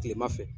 Kilema fɛ